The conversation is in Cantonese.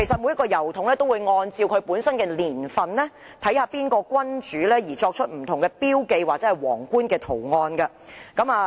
每個郵筒按照本身的年份，視乎當時在位的君主而刻有不同標記或皇冠圖案。